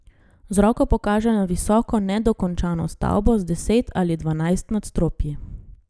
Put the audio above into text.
Z roko pokaže na visoko nedokončano stavbo, z deset ali dvanajst nadstropji.